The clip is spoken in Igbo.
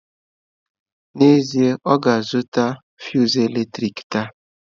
N'ezie, ọ ga-azụta fụsụ eletrik taa